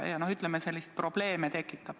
Noh, ütleme, tekib probleeme.